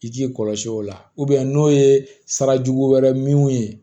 I k'i kɔlɔsi o la n'o ye sarajugu wɛrɛ min ye